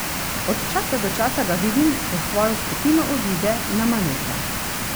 Od časa do časa ga vidim, ko s svojo skupino odide na manevre.